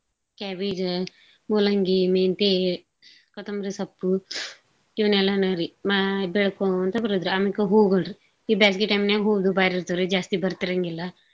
Cabbage ಮೂಲಂಗಿ, ಮೆಂತೆ, ಕೊತುಂಬ್ರಿ ಸೊಪ್ಪು ಇವ್ನೆಲ್ಲಾನೂರಿ ಮಾ~ ಬೆಳ್ಕೋಂನ್ತ ಬರೂದ್ರಿ. ಆಮೇಕ ಹೂಗುಳ್ರಿ ಈ ಬ್ಯಾಸ್ಗಿ time ನ್ಯಾಗ್ ಹೂದು ಬಾರಿ ಇರ್ತಾವ್ರಿ. ಜಾಸ್ತಿ ಬರ್ತಿರಂಗಿಲ್ಲಾ.